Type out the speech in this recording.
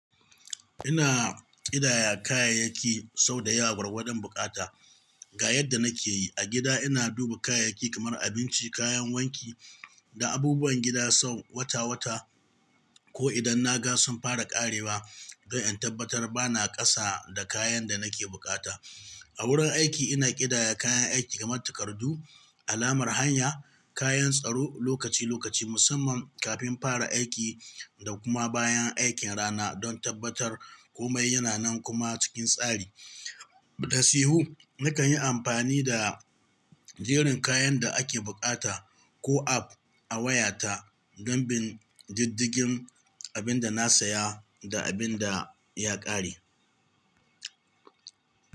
Ina ƙidaya kayayyaki sau dayawa gwargwadon buƙata. Ga yadda nake yi, a gida ina duba kayayyaki kamar abinci, kayan wanki da abubuwan gida sau wata-wata ko idan na ga sunfara ƙarewa don in tabbatar ba na ƙasa da kayan da nake buƙata. A wurin aiki ina ƙidaya kayan aiki kamar takardu, alamar hanya, kayan tsaro lokaci-lokaci musamman kafin fara aiki da kuma bayan aikin rana don tabbatar komai yana nan kuma cikin tsari. Da sihhi, nakan yi amfani da jerin kayan da ake buƙata ko app a wayata don bin diddigin abin da na saya da abin da ya ƙare.